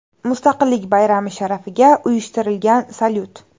Mustaqillik bayrami sharafiga uyushtirilgan salyut.